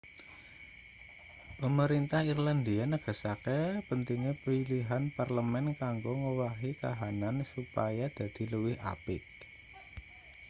pemerintah irlandia negaske pentinge pilihan parlemen kanggo ngowahi kahanan supaya dadi luwih apik